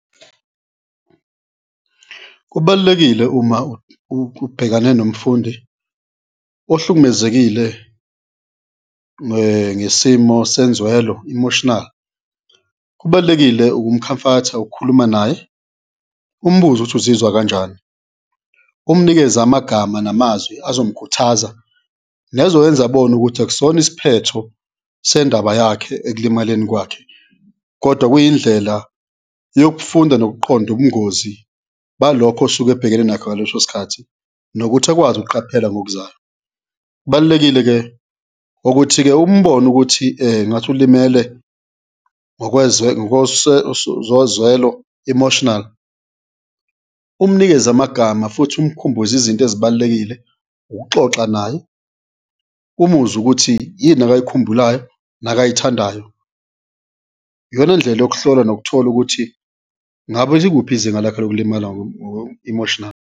Kubalulekile uma ubhekane nomfundi ohlukumezekile ngesimo senzwelo, emotional, kubalulekile ukumkhamfatha, ukhuluma naye, umbuze ukuthi uzizwa kanjani, umnikeze amagama namazwi azomkhuthaza nezoyenza abone ukuthi akusona isiphetho sendaba yakhe ekulimaleni kwakhe kodwa kuyindlela yokufunda nokuqonda ubungozi balokho osuke ebhekene nakho ngaleso sikhathi nokuthi akwazi ukuqaphela ngokuzayo. Kubalulekile-ke ukuthi-ke umbone ukuthi ngathi ulimele zozwelo, emotional, umnikeze amagama futhi umkhumbuze izinto ezibalulekile, ukuxoxa naye, umuzwe ukuthi yini akayikhumbulayo nakayithandayo, iyona ndlela yokuhlola nokuthola ukuthi ngabe likuphi izinga lakhe lokulimala emotional.